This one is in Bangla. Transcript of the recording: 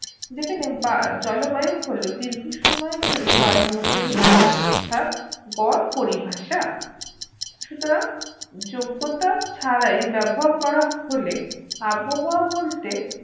যেখানে বা জলবায়ু হলো দীর্ঘসময়ের জন্য বায়ুমন্ডলিয় অবস্থার গড় পরিভাষা সুতরাং যোগ্যতা ছাড়াই ব্যবহার করা হলে আবহওয়া বলতে